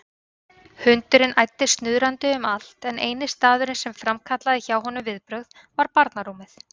Hundurinn æddi snuðrandi um allt en eini staðurinn sem framkallaði hjá honum viðbrögð var barnarúmið.